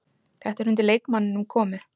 Þetta er undir leikmanninum komið.